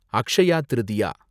Akshaya Tritiya